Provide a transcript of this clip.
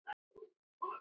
Ég hlusta á Kalla.